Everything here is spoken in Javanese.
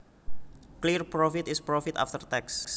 Clear profit is profit after tax